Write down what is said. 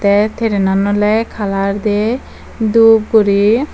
te trainan oley kalar dey dup guri.